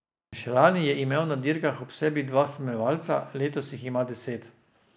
Še lani je imel na dirkah ob sebi dva spremljevalca, letos jih ima deset.